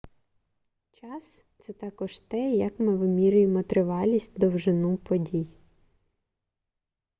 час — це також те як ми вимірюємо тривалість довжину подій